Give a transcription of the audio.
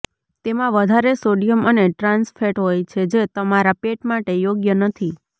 તેમાં વધારે સોડિયમ અને ટ્રાન્સ ફેટ હોય છે જે તમારા પેટ માટે યોગ્ય નથી